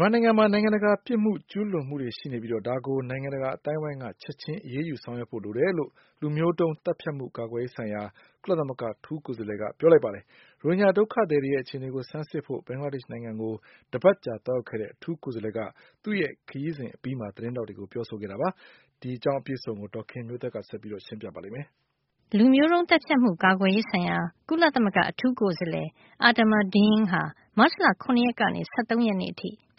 မြန်မာနိုင်ငံမှာ နိုင်ငံတကာ ရာဇဝတ်မှုတွေ ကျူးလွန်မှု ရှိနေပြီး ဒါကို နိုင်ငံတကာ အသိုင်းအဝိုင်းက ချက်ချင်း အရေးယူဆောင်ရွက်ဖို့ လိုတယ်လို့ လူမျိုးတုံးသတ်ဖြတ်မှု ကာကွယ်ရေးဆိုင်ရာ ကုလသမဂ္ဂ အထူးကိုယ်စားလှယ်က ပြောကြားလိုက်ပါတယ်။ ရိုဟင်ဂျာဒုက္ခသည်တွေရဲ့ အခြေနေကို ဆန်းစစ်ဖို့ ဘင်္ဂလားဒေ့ရှ်နိုင်ငံကို တပတ်ကြာ သွားရောက်ခဲ့တဲ့ အထူးကိုယ်စားလှယ်က သူ့ခရီးစဉ်အပြီး သတင်းထောက်တွေကို ပြောကြားခဲ့တာ ဖြစ်ပါတယ်။ အပြည့်အစုံကို ဒေါ်ခင်မျိုးသက်က ပြောပြပေးမှာပါ။ လူမျိုးတုန်း သတ်ဖြတ်မှု ကာကွယ်ရေးဆိုင်ရာ ကုလသမဂ္ဂ အထူးကိုယ်စားလှယ် Adama Dieng ဟာ မတ်လ ၇ ရက်ကနေ ၁၃ ရက်အထိ ဘ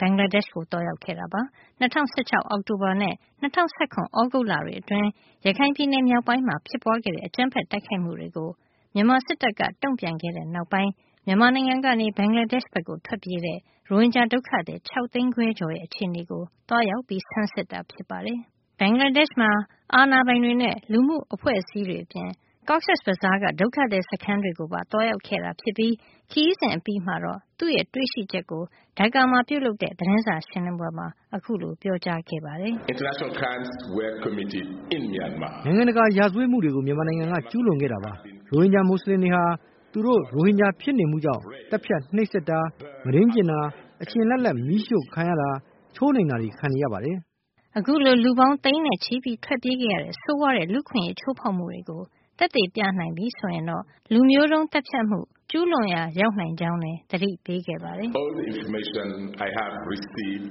င်္ဂလားဒေ့ရှ်ကို သွားရောက်ခဲ့တာပါ။ ၂၀၁၆ အောက်တိုဘာနဲ့ ၂၀၁၇ သြဂုတ်လတွေ အတွင်း ရခိုင်ပြည်နယ် မြောက်ပိုင်းမှာ ဖြစ်ပွါးတဲ့ အကြမ်းဖက်တိုက်ခိုက်မှုတွေကို မြန်မာစစ်တပ်က တုန့်ပြန်ခဲ့တဲ့နောက်ပိုင်း မြန်မာနိုင်ငံကနေ ဘင်္ဂလားဒေ့ရှ်ဘက်ထွက်ပြေးတဲ့ ရိုဟင်ဂျာ ဒုက္ခသည် ၆ သိန်းခွဲကျော်ရဲ့ အခြေနေကို သွားရောက်ဆန်းစစ်တာဖြစ်ပါတယ်။ ဘင်္ဂလားဒေ့ရှ်မှာ အာဏာပိုင်တွေနဲ့ လူမှုအဖွဲ့အစည်းတွေ အပြင် Cox’s Bazaar ကဒုက္ခသည် စခန်းတွေကိုပါ သွားရောက်ခဲ့တာဖြစ်ပြီး ခရီးစဉ်အပြီးမှာတော့ သူ့တွေ့ရှိချက်ကို Dhaka မှာပြုလုပ်တဲ့ သတင်းစာရှင်းလင်းပွဲမှာ ပြောကြားခဲ့ပါတယ်။ “နိုင်ငံတကာ ရာဇဝတ်မှုတွေကို မြန်မာနိုင်ငံက ကျူးလွန်ခဲ့တာပါ။ ရိုဟင်ဂျာ မူစလင်တွေဟာ သူတို့ရိုဟင်ဂျာ ဖြစ်နေမှုကြောင့်ပဲ သတ်ဖြတ်နှိပ်စက်တာ၊ မုဒိန်းကျင့်တာ၊ အရှင်လတ်လတ်မီးရှို့ခံရတာ၊ ချိုးနှိမ်တာတွေကို ခံနေရတာပါ။” အခုလို လူပေါင်းသိန်းနဲ့ချီပြီး ထွက်ပြေးခဲ့ရတဲ့ ဆိုးရွားတဲ့ လူ့အခွင့်အရေး ချိုးဖောက်မှုတွေကို သက်သေပြနိုင်ပြီ ဆိုရင်တော့ လူမျိုးတုန်း သတ်ဖြတ်မှုကျုးလွန်ရာ ရောက်နိုင်ကြောင်းလည်း သတိပေးခဲ့ပါတယ်။ “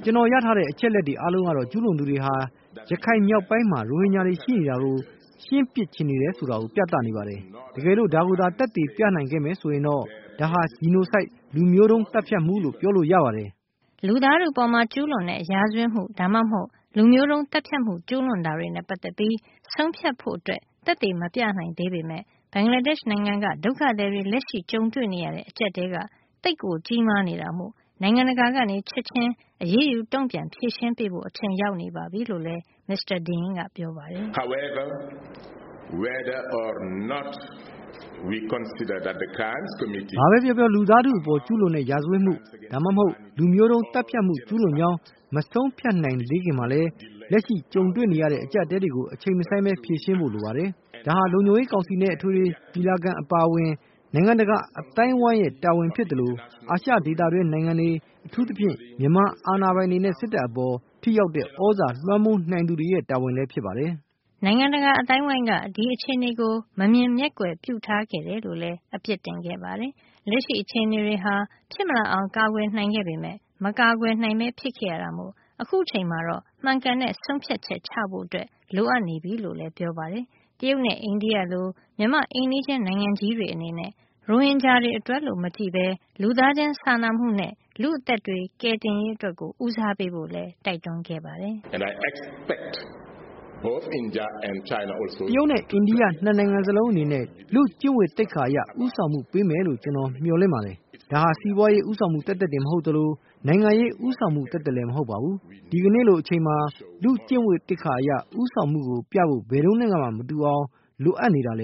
ကျွန်တော်ရထားတဲ့ အချက်အလက်တွေ အားလုံးကတော့ ကျူးလွန်သူတွေဟာ ရခိုင်မြောက်ပိုင်းမှာ ရိုဟင်ဂျာတွေ ရှိနေတာကို ရှင်းပစ်ချင်နေတယ်ဆိုတာ ပြသနေပါတယ်။ တကယ်လို့ ဒါကိုသာ သက်သေပြနိုင်ခဲ့မယ်ဆိုရင် ဒါဟာ genocide လူမျိုးတုံး သတ်ဖြတ်မှု လို့ပြောလို့ရပါတယ်” လူသားထုအပေါ် ကျုးလွန်တဲ့ ရာဇဝတ်မှု ဒါမှမဟုတ် လူမျိုးတုံး သတ်ဖြတ်မှု ကျုးလွန်တာတွေနဲ့ ပတ်သက်ပြီး ဆုံးဖြတ်ဖို့ သက်သေမပြနိုင်သေးပေမယ့် ဘင်္ဂလားဒေ့ရှ်နိုင်ငံက ဒုက္ခသည်တွေ လက်ရှိကြုံတွေ့နေရတဲ့ အကြပ်အတည်းက သိပ်ကိုကြီးမား နေတာမို့ နိုင်ငံတကာက ချက်ချင်း အရေးယူ တုန့်ပြန်ဖြေရှင်းပေးကြဖို့ အချိန်ရောက်နေပြီလို့ မစ္စတာ Dieng က ပြောခဲ့ပါတယ်။ “ဘာပဲပြောပြော လူသားထုအပေါ် ကျုးလွန်တဲ့ ရာဇဝတ်မှု၊ ဒါမှမဟုတ် လူမျိုးတုံး သတ်ဖြတ်မှု ကျုးလွန်ကြောင်း မဆုံးဖြတ်နိုင်သေးခင်မှာလည်း လက်ရှိကြုံတွေ့ နေရတဲ့ အကျပ်အတည်းကို အချိန်မဆိုင်းပဲ ဖြေရှင်းဖို့လိုပါတယ်။ ဒါဟာ လုံခြုံရေးကောင်စီနဲ့ အထွေထွေညီလာခံ အပါအဝင် နိုင်ငံတကာအသိုင်းအဝိုင်းရဲ့ တာဝန်ဖြစ်သလို အာရှ ဒေသတွင်းနိုင်ငံတွေ အထူးသဖြင့် မြန်မာအာဏာပိုင်တွေနဲ့ စစ်တပ်အပေါ် ထိရောက်တဲ့သြဇာ လွှမ်းမိုးနိုင်သူတွေရဲ့ တာဝန်လည်း ဖြစ်ပါတယ်။” နိုင်ငံတကာ အသိုင်းအဝိုင်းက ဒီအခြေနေကို မမြင်မျက်ကွယ်ပြုထားခဲ့တယ်လို့လည်း အပြစ်တင်ခဲ့ပါတယ်။ လက်ရှိ အခြေအနေတွေဟာ ဖြစ်မလာအောင် ကာကွယ်နိုင်ခဲ့ပေမယ့် မကာကွယ်နိုင်ပဲဖြစ်ခဲ့ရတာမို့ အခုအချိန်မှာ မှန်ကန်တဲ့ ဆုံးဖြတ်ချက် ချဖို့ လိုနေပြီလို့လည်း ပြောပါတယ်။ တရုတ်နဲ့ အိန္ဒိယလို့ မြန်မာ့အိမ်နီးချင်း နိုင်ငံကြီးတွေအနေနနဲ့ ရိုဟင်ဂျာအတွက်လို့ မကြည့်ဘဲလူသားချင်းစာနာမှုနဲ့ လူ့အသက်တွေ ကယ်တင်ရေး အတွက်ကို ဦးစားပေးဖို့လည်း တိုက်တွန်းခဲ့ပါတယ်။ “တရုတ်နဲ့ အိန္ဒိယ ၂ နိုင်ငံစလုံးအနေနဲ့ လူ့ကျင့်ဝတ်သိက္ခာ အရ ဦးဆောင်မှုပေးမယ်လို့ ကျွန်တော်မျှော်လင့် ပါတယ်။ ဒါဟာ စီးပွါးရေဦးဆောင်မှုသက်သက်မဟုတ်သလို နိုင်ငံရေးဦးဆောင်မှု သက်သက်လည်း မဟုတ်ပါဘူး။ ဒီကနေ့လိုအချိန်မှာ လူ့ကျင့်ဝတ်သိက္ခာအရ ဦးဆောင်မှုကို ပြဖို့ ဘယ်တုန်းကနဲ့မှ မတူအောင်ကို လိုအပ်နေတာပါ”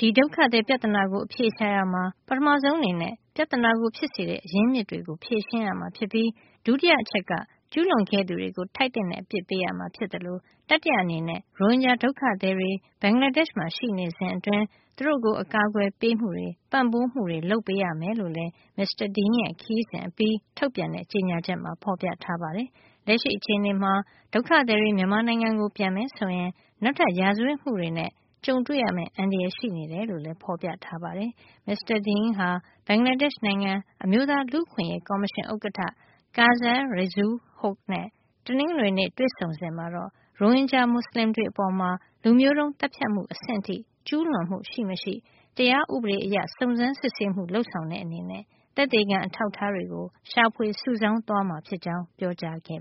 ဒီဒုက္ခသည် ပြဿနာကို အဖြေရှာရာမှာ ပထမဆုံးအနေနဲ့ ပြဿနာကို ဖြစ်စေတဲ့ အရင်းအမြစ်တွေကို ဖြေရှင်းရမှာ ဖြစ်ပြီး ဒုတိယအချက်အနေနဲ့ ကျူးလွန်ခဲ့သူတွေကို ထိုက်သင့်တဲ့ အပစ်ပေးရမှာ ဖြစ်သလို တတိယအနေနဲ့ ရိုဟင်ဂျာဒုက္ခသည်တွေ ဘင်္ဂလားဒေ့ရှ်မှာ ရှိနေစဉ်အတွင်း သူတို့ကို အကာကွယ်ပေးမှုတွေ၊ ပံ့ပိုးမှုတွေ လုပ်ပေးရမယ်လို့လည်း မစ္စတာ Dieng ရဲ့ ခရီးစဉ်အပြီး ထုတ်ပြန်တဲ့ ကြေညာချက်မှာ ဖေါ်ပြထားပါတယ်။ လက်ရှိအခြေနေမှာ ဒုက္ခသည်တွေ မြန်မာနိုင်ငံကို ပြန်မယ်ဆိုရင် နောက်ထပ် ရာဇဝတ်မှုတွေနဲ့ ကြုံတွေ့ရမယ့် အန္တရာယ် ရှိနေတယ်လို့လည်း ဖေါ်ပြထားပါတယ်။ မစ္စတာ Dieng ဟာ ဘင်္ဂလားဒေ့ချ်နိုင်ငံ အမျိုးသား လူ့အခွင့်အရေးကော်မရှင် ဥက္ကဌ Kazi Reazul Hoque နဲ့ တနင်္ဂနွေနေ့တွေ့ဆုံစဉ်မှာ တော့ ရိုဟင်ဂျာမူဆလင်တွေအပေါ် လူမျိုးတုန်းသတ်ဖြတ်မှုအဆင့်ထိ ကျူးလွန်မှု ရှိမရှိ တရားဥပဒေအရ စုံစမ်းစစ်ဆေးမှု လုပ်ဆောင်တဲ့အနေနဲ့ သက်သေခံ အထောက်အထားတွေကို ရှာဖွေစုဆောင်းသွားမှာဖြစ်ကြောင်း ပြောခဲ့